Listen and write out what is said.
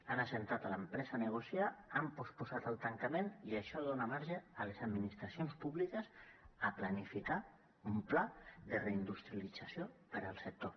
han assegut l’empresa a negociar han posposat el tancament i això dona marge a les administracions públiques a planificar un pla de reindustrialització per al sector